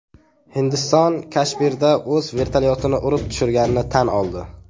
Hindiston Kashmirda o‘z vertolyotini urib tushirganini tan oldi.